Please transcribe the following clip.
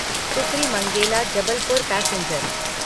Sukri Mangela Jabalpur passenger